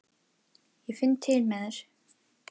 Ég finn til með þér.